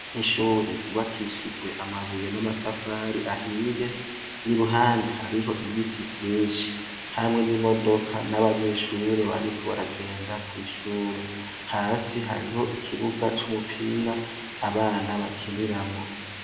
Ishure ryubakishijwe amabuye namatafari ahiye iruhande hariho ibiti vyinshi hamwe nimodoka nabanyeshure bariko baragenda kwishure hasi hariho ikibuga cumupira abana bakiniramwo